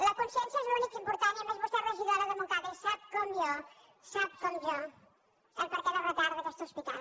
la consciència és l’únic important i a més vostè és regidora de montcada i sap com jo ho sap com jo el perquè del retard d’aquest hospital